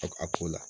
A ko la